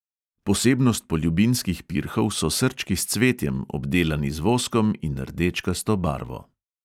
Posebnost poljubinskih pirhov so srčki s cvetjem, obdelani z voskom in rdečkasto barvo.